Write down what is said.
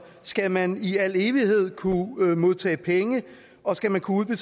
skal man i al evighed kunne modtage penge og skal man kunne